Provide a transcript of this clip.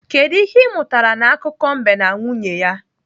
Kedụ ihe ị mụtara n'akụkọ mbe na nwunye ya?